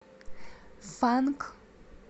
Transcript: фанк